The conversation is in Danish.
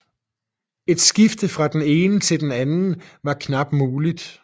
Et skifte fra den ene til den anden var knap muligt